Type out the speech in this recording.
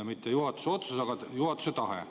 Mitte juhatuse otsus, aga juhatuse tahe.